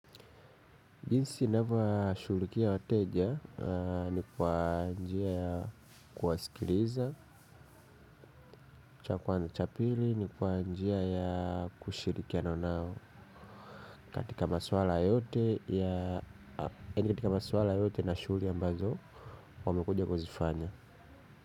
Jinsi ninavyo washughulikia wateja ni kwa njia ya kuwasikiliza, cha kwanza cha pili, ni kwa njia ya kushirikiana nao. Katika maswala yote ya, yaani katika maswala yote na shughuli ambazo, wamekuja kuzifanya.